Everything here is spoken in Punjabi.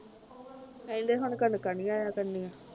ਕਹਿੰਦੇ ਹੁਣ ਕਣਕਾਂ ਨਹੀਂ ਆਇਆ ਕਰਨਗੀਆਂ